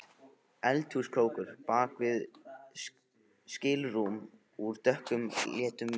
Eldhúskrókur bak við skilrúm úr dökkleitum viði.